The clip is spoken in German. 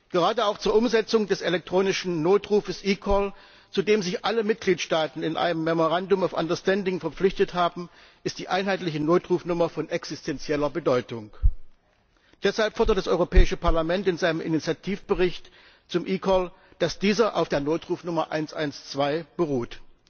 Gerade auch zur Umsetzung des elektronischen Notrufs eCall, zu dem sich alle Mitgliedstaaten in einem Memorandum of Understanding verpflichtet haben, ist die einheitliche Notrufnummer von existentieller Bedeutung. Deshalb fordert das Europäische Parlament in seinem Initiativbericht zu eCall, dass dieser auf der Notrufnummer 112 beruht.